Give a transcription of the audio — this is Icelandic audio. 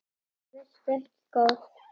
Vertu ekki góður.